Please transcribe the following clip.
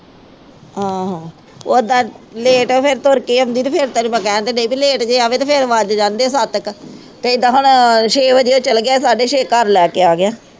ਆਹੋ ਓਦਾਂ late ਫਿਰ ਤੁਰ ਕੇ ਆਉਂਦੀ ਤੇ ਫਿਰ ਤੈਨੂੰ ਮੈਂ ਕਹਿਣ ਤਾਂ ਡਈ ਵੀ late ਜੇ ਆਵੇ ਤੇ ਫਿਰ ਵੱਜ ਜਾਂਦੇ ਸੱਤ ਕੁ ਤੇ ਏਦਾਂ ਹੁਣ ਛੇ ਵਜੇ ਚਲੇ ਗਿਆ ਸਾਢੇ ਛੇ ਘਰ ਲੈ ਕੇ ਆ ਗਿਆ।